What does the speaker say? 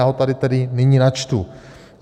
Já ho tady tedy nyní načtu.